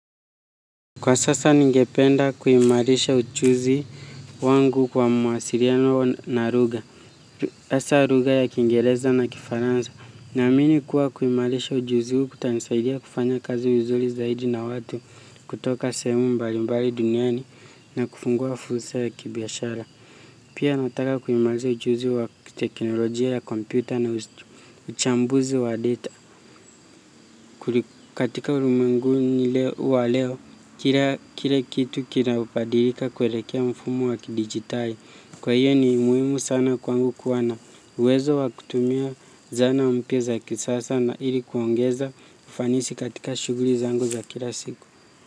Kwa sasa ningependa kuimarisha ujuzi wangu kwa mawasiliano na lugha. Hasa lugha ya kiingereza na kifaransa. Naamini kuwa kuimarisha ujuzi huu kutanisaidia kufanya kazi vizuri zaidi na watu kutoka sehemu mbali mbali duniani na kufungua fursa ya kibiashara. Pia nataka kuimarisha ujuzi wa kiteknolojia ya kompyuta na ustu. Uchambuzi wa data katika ulimwenguni wa leo kila kitu kinabadilika kuelekea mfumo wa kidigitai. Kwa hiyo ni muhimu sana kwangu kuwa na uwezo wa kutumia zana mpya za kisasa na ili kuongeza ufanisi katika shuguli zangu za kila siku.